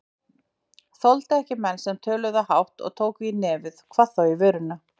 Þoldi ekki menn sem töluðu hátt og tóku í nefið, hvað þá í vörina.